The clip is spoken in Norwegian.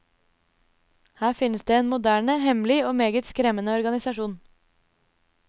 Her finnes det en moderne, hemmelig og meget skremmende organisasjon.